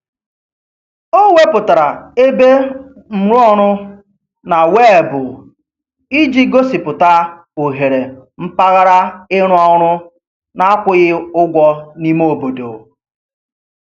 O wepụtara ebe nrụọrụ na weebụ iji gosipụta ohere mpaghara ịrụ ọrụ na-akwụghị ụgwọ n'ime obodo.